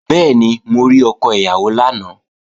Bẹ́ẹ̀ni, mo rí ọkọ ìyàwó lánàá